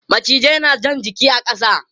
Macizai na jan jiki a ƙasa.